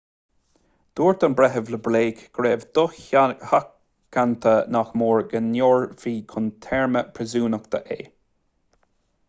dúirt an breitheamh le blake go raibh dosheachanta nach mór go ndaorfaí chun téarma príosúnachta é